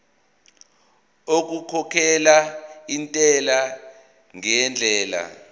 okukhokhela intela ngendlela